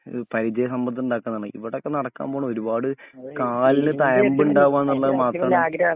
ഒരു പരിജയസമ്പത്തുണ്ടാക്കാന്നാണ് ഇവിടൊക്കെ നടക്കാപോൺ ഒരുപാട് കാലിന് തയമ്ബ് ണ്ടാവാനുള്ളത് മാത്രാണ്